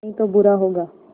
नहीं तो बुरा होगा